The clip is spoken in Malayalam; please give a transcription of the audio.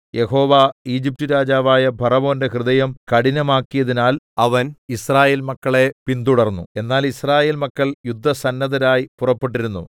യഹോവ ഈജിപ്റ്റുരാജാവായ ഫറവോന്റെ ഹൃദയം കഠിനമാക്കിയതിനാൽ അവൻ യിസ്രായേൽ മക്കളെ പിന്തുടർന്നു എന്നാൽ യിസ്രായേൽ മക്കൾ യുദ്ധസന്നദ്ധരായി പുറപ്പെട്ടിരുന്നു